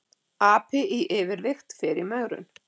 Api í yfirvigt fer í megrun